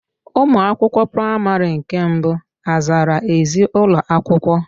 Ụmụ akwụkwọ praịmarị nke mbụ azara ezi ụlọakwụkwọ?